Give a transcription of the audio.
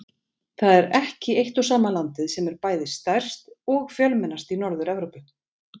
Það er ekki eitt og sama landið sem er bæði stærst og fjölmennast í Norður-Evrópu.